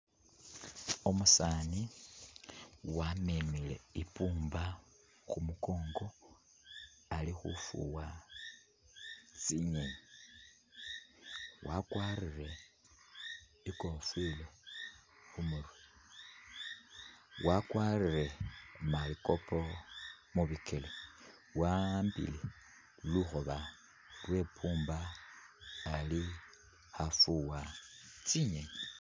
Umusani wamemele i’pumba khumukongo ali khufuwa tsinyenyi , wakwarire ikofila khumurwe, wakwarire malikopo mubikele waambile lukhoba lwe pumba ali khafuwa tsinyenyi